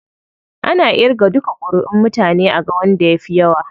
Ana irga duka kuriʼun mutane aga wanda ya fi yawa.